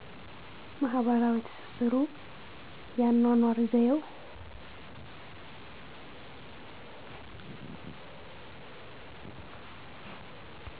ማህበራዊ ትስስሩ የአኖኖር ዘየው